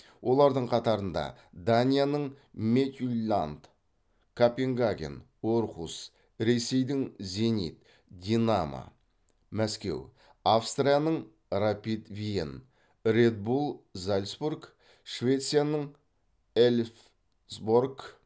олардың қатарында данияның мидтьюлланн копенгаген орхус ресейдің зенит динамо мәскеу австрияның рапид виен ред булл зальцбург швецияның эльфсборг